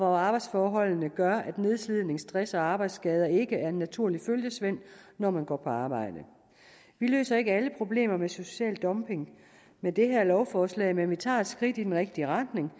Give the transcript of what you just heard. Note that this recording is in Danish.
arbejdsforhold der gør at nedslidning stress og arbejdsskader ikke er en naturlig følgesvend når man går på arbejde vi løser ikke alle problemer med social dumping med det her lovforslag men vi tager et skridt i den rigtige retning